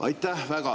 Aitäh!